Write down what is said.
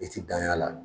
I ti dan y'a la